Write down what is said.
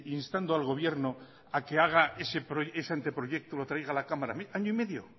instando al gobierno a que haga ese anteproyecto lo traiga a la cámara año y medio